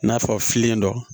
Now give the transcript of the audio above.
I n'a fɔ fililen don